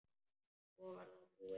Svo var það búið.